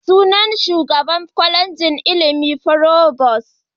Suna Shugaban Kwalejin ilimi provost.